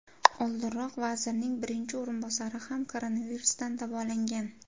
Oldinroq vazirning birinchi o‘rinbosari ham koronavirusdan davolangan.